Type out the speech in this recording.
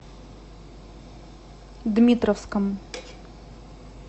дмитровском